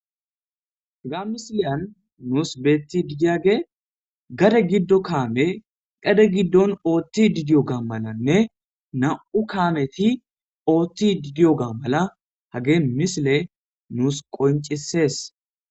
hga misileyan nuus beetti didiage gade giddo kaame dade giddon ooththi didiyo gaa malanne nam7u kaameti oothti didiyo ga mala hage misile nuus qoncisees